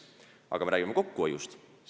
Aga räägime kokkuhoiust.